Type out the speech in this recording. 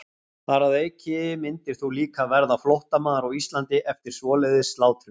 Þar að auki myndir þú líka verða flóttamaður á Íslandi eftir svoleiðis slátrun.